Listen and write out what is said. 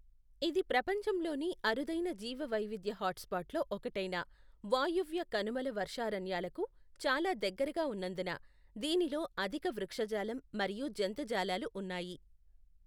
ఇది ప్రపంచంలోని అరుదైన జీవవైవిధ్య హాట్స్పాట్ల్లో ఒకటైన వాయువ్య కనుమల వర్షారణ్యాలకు చాలా దగ్గరగా ఉన్నందున దీనిలో అధిక వృక్షజాలం మరియు జంతుజాలాలు ఉన్నాయి.